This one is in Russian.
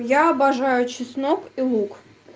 я обожаю чеснок и лук